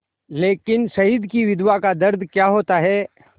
लेकिन शहीद की विधवा का दर्द क्या होता है